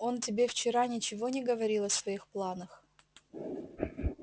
он тебе вчера ничего не говорил о своих планах